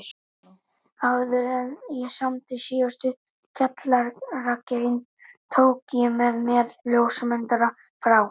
Áðuren ég samdi síðustu kjallaragrein tók ég með mér ljósmyndara frá